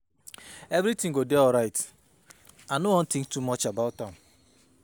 Everything go dey fine. I know wan think too much about am